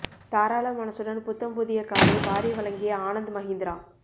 தாராள மனசுடன் புத்தம் புதிய காரை வாரி வழங்கிய ஆனந்த் மஹிந்திரா